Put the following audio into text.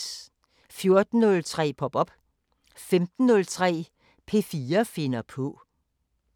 14:03: Pop op 15:03: P4 finder på